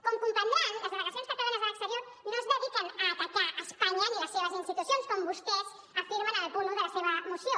com comprendran les delegacions catalanes a l’exterior no es dediquen a atacar espanya ni les seves institucions com vostès afirmen en el punt un de la seva moció